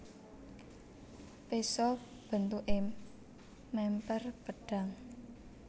Péso bentuké mèmper pedhang